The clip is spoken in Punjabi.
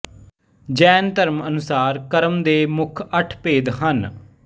ਜੈਨ ਧਰਮ ਅਨੁਸਾਰ ਕਰਮ ਦੇ ਮੁੱਖ ਅੱਠ ਭੇਦ ਹੈ